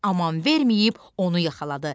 Aman verməyib onu yaxaladı.